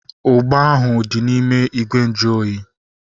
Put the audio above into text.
Ugba ahu dị n'ime ìgwè nju oyi